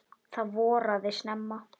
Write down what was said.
Það voraði snemma.